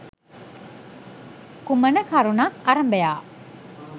කුමන කරුණක් අරභයා